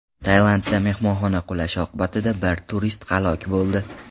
Tailandda mehmonxona qulashi oqibatida bir turist halok bo‘ldi.